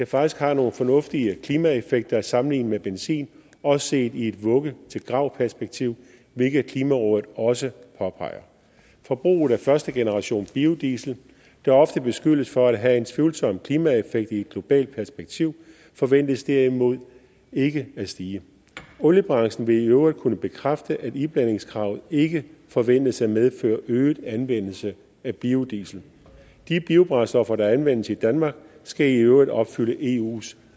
faktisk har nogle fornuftige klimaeffekter sammenlignet med benzin også set i et vugge til grav perspektiv hvilket klimarådet også påpeger forbruget af førstegenerationsbiodiesel der ofte beskyldes for at have en tvivlsom klimaeffekt i et globalt perspektiv forventes derimod ikke at stige oliebranchen vil i øvrigt kunne bekræfte at iblandingskravet ikke forventes at medføre øget anvendelse af biodiesel de biobrændstoffer der anvendes i danmark skal i øvrigt opfylde eus